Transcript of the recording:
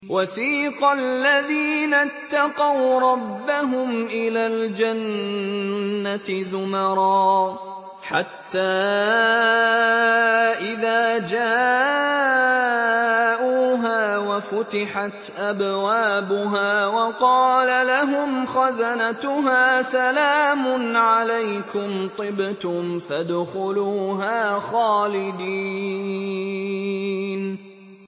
وَسِيقَ الَّذِينَ اتَّقَوْا رَبَّهُمْ إِلَى الْجَنَّةِ زُمَرًا ۖ حَتَّىٰ إِذَا جَاءُوهَا وَفُتِحَتْ أَبْوَابُهَا وَقَالَ لَهُمْ خَزَنَتُهَا سَلَامٌ عَلَيْكُمْ طِبْتُمْ فَادْخُلُوهَا خَالِدِينَ